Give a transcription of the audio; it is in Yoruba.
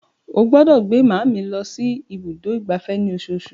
Ó gbọ́dọ̀ gbé máa mi lọ sí ibùdó ìgbafẹ́ ní osoosù.